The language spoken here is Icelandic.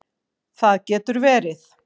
Það getur verið